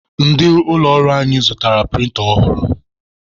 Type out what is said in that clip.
Ndị ụlọ ọrụ anyị zụtara prịnta ọhụrụ.